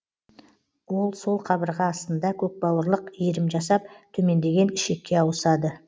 ол сол қабырға астында көкбауырлық иірім жасап төмендеген ішекке ауысады